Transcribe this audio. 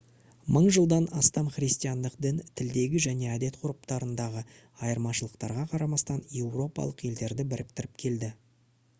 мың жылдан астам христиандық дін тілдегі және әдет-ғұрыптарындағы айырмашылықтарға қарамастан еуропалық елдерді біріктіріп келді